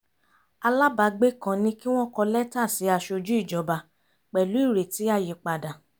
alábàágbé kan ní kí wọ́n kọ lẹ́tà sí aṣojú ìjọba pẹ̀lú ireti àyípadà